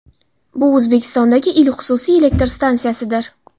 Bu O‘zbekistondagi ilk xususiy elektr stansiyasidir.